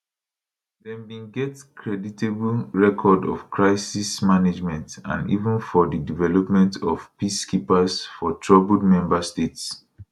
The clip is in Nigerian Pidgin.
dem bin get creditable record of crisis management and even for di deployment of peacekeepers for troubled member states